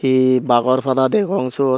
ee bagor pada degong syot.